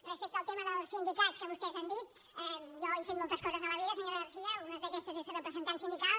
respecte al tema dels sindicats que vostès han dit jo he fet moltes coses a la vida senyora garcía una d’aquestes és ser representant sindical